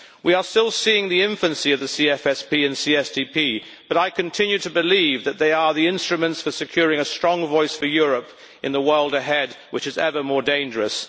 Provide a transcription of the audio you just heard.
We are still seeing the infancy of the CFSP and CSDP, but I continue to believe that they are the instruments for securing a strong voice for Europe in the world ahead, which is ever more dangerous.